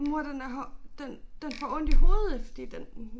Mor den er den den får ondt i hovedet fordi den